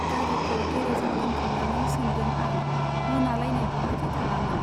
गारिखौ गेरेजाव दोनखांनानै सोंदों आं, मोनालायनाय बहाथो थाङामोन ?